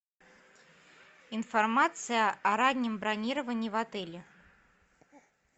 информация о раннем бронировании в отеле